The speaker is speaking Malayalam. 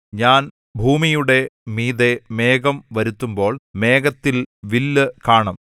ഞാൻ ഭൂമിയുടെ മീതെ മേഘം വരുത്തുമ്പോൾ മേഘത്തിൽ വില്ല് കാണും